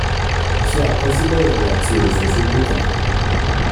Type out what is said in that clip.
ṣé àkọsílẹ̀ èrè àti òfò ṣojú kan